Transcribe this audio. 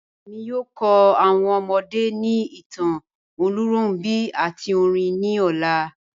Ẹ̀mi yóò kọ́ awọn ọmọdé ni ìtàn Olúnrọ̀nbi àti orin ni ọlá.